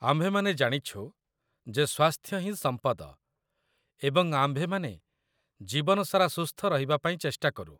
ଆମ୍ଭେମାନେ ଜାଣିଛୁ ଯେ ସ୍ୱାସ୍ଥ୍ୟ ହିଁ ସମ୍ପଦ, ଏବଂ ଆମ୍ଭେମାନେ ଜୀବନ ସାରା ସୁସ୍ଥ ରହିବା ପାଇଁ ଚେଷ୍ଟା କରୁ